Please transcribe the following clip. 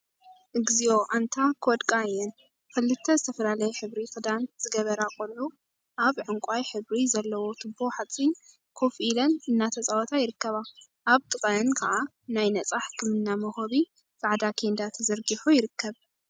እግዚኦ አንታ ክወድቃ እየን! ክልተ ዝተፈላለየ ሕብሪ ክዳን ዝገበራ ቆልዑ አብ ዕንቋይ ሕብሪ ዘለዎ ቱቦ ሓፂን ኮፍ ኢለን እናተፃወታ ይርከባ፡፡ አብ ጥቅአን ከዓ ናይ ነፃ ህክምና መውሃቢ ፃዕዳ ኬንዳ ተዘርጊሑ ይርከብ፡፡